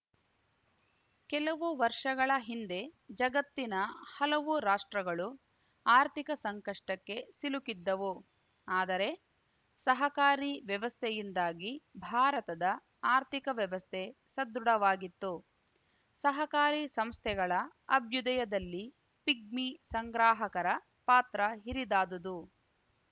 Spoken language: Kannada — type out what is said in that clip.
ಕೆಲವು ವರ್ಷಗಳ ಹಿಂದೆ ಜಗತ್ತಿನ ಹಲವು ರಾಷ್ಟ್ರಗಳು ಆರ್ಥಿಕ ಸಂಕಷ್ಟಕ್ಕೆ ಸಿಲುಕಿದ್ದವು ಆದರೆ ಸಹಕಾರಿ ವ್ಯವಸ್ಥೆಯಿಂದಾಗಿ ಭಾರತದ ಆರ್ಥಿಕ ವ್ಯವಸ್ಥೆ ಸದೃಢವಾಗಿತ್ತು ಸಹಕಾರಿ ಸಂಸ್ಥೆಗಳ ಅಭ್ಯುದಯದಲ್ಲಿ ಪಿಗ್ಮಿ ಸಂಗ್ರಾಹಕರ ಪಾತ್ರ ಹಿರಿದಾದುದು